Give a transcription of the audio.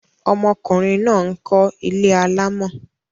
Ọmọkùnrin náà ń kọ́ ilé alámọ̀.